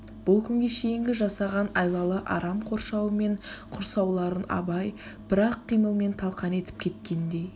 бұл күнге шейінгі жасаған айлалы арам қоршауы мен құрсауларын абай бір-ақ қимылмен талқан етіп кеткендей